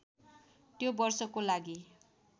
त्यो वर्षको लागि